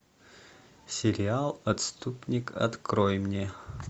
сериал отступник открой мне